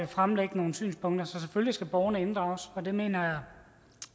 fremlægge nogle synspunkter så selvfølgelig skal borgerne inddrages men det mener jeg